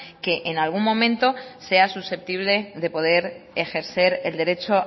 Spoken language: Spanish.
que en algún momento sea susceptible de poder ejercer el derecho